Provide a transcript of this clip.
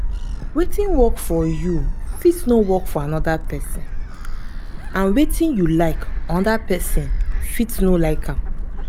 wetin work for you fit no work for anoda person and wetin you like anoda person fit no like am